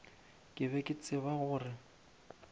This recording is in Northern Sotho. ke be ke tseba gore